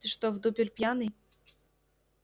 ты что в дупель пьяный